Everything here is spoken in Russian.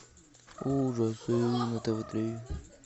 ужасы на тв три